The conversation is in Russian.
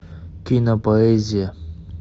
кинопоэзия